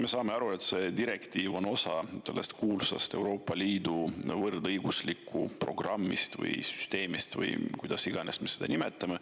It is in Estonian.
Me saame aru, et see direktiiv on osa sellest kuulsast Euroopa Liidu võrdõiguslikkuse programmist või süsteemist või kuidas iganes me seda nimetame.